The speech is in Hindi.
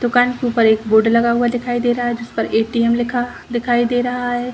दुकान के ऊपर एक बोर्ड लगा हुआ दिखाई दे रहा है जिस पर एटीएम लिखा दिखाई दे रहा है।